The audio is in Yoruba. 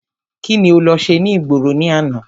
Kíni o lọ ṣe ní ìgboro ní àná?